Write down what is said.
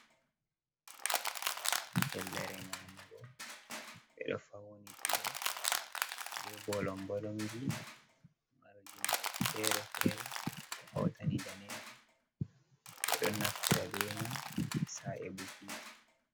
Fellere nyamugo ɓeɗo Faunitiɗe be bolom-bolomji. Marɗi nau'i fere-fere ko hautani danejum. Ɓeɗo naftira be mai sa'i bukiji.